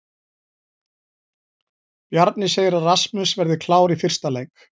Bjarni segir að Rasmus verði klár í fyrsta leik.